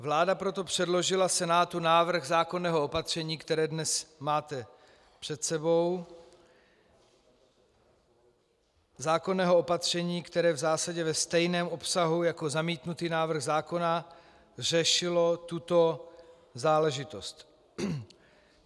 Vláda proto předložila Senátu návrh zákonného opatření, které dnes máte před sebou, zákonného opatření, které v zásadě ve stejném obsahu jako zamítnutý návrh zákona řešilo tuto záležitost.